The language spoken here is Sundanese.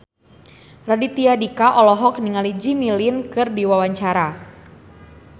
Raditya Dika olohok ningali Jimmy Lin keur diwawancara